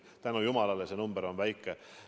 Tänu jumalale, see number on väike.